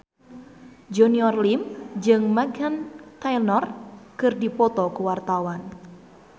Junior Liem jeung Meghan Trainor keur dipoto ku wartawan